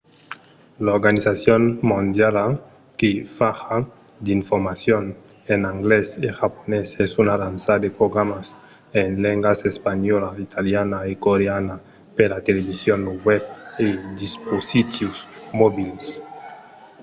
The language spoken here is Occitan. l’organizacion mondiala que fa ja d'informacion en anglés e japonés es a lançar de programas en lengas espanhòla italiana e coreana per la television lo web e los dispositius mobils